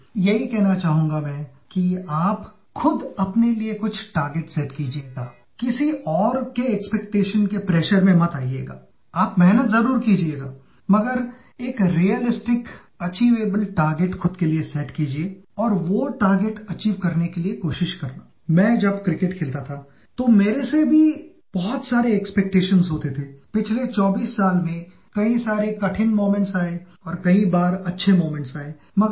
He is someone the young generation is proud of and inspired by Bharat Ratna Sachin Tendulkar